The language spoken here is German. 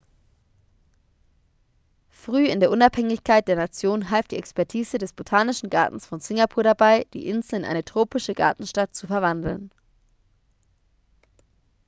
früh in der unabhängigkeit der nation half die expertise des botanischen gartens von singapur dabei die insel in eine tropische gartenstadt zu verwandeln